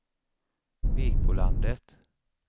Vikbolandet